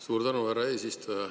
Suur tänu, härra eesistuja!